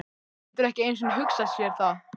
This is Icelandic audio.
Getur ekki einu sinni hugsað sér það.